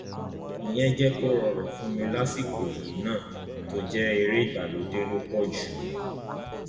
ìyẹn jẹ kó rọrùn fún mi lásìkò yìí náà tó jẹ eré ìgbàlódé ló pọ jù